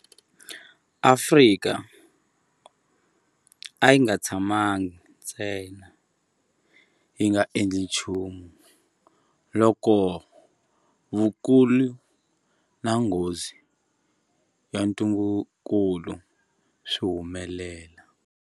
Afrika a yi nga tshamangi ntsena yi nga endli nchumu loko vukulu na nghozi ya ntungukulu swi humelela.